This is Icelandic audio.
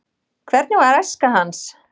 hvernig var æska hans